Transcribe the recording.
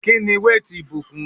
Kíni weight ìbùkún?